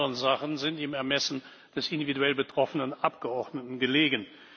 Alle anderen Sachen sind im Ermessen des individuell betroffenen Abgeordneten gelegen.